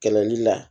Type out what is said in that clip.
Kɛlɛli la